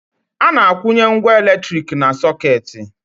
A na-akwụnye ngwá elektrik na sọkeeti.